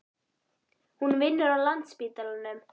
Hún vinnur á Landspítalanum.